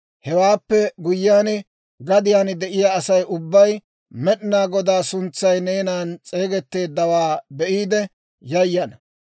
Hewaappe guyyiyaan, gadiyaan de'iyaa Asay ubbay Med'inaa Godaa suntsay neenan s'eegetteeddawaa be'iide yayana.